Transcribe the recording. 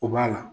O b'a la